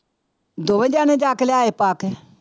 ਦੋਵੇਂ ਜਾਣੇ ਜਾ ਕੇ ਲਿਆਏ ਸੀ ਪਾ ਕੇ।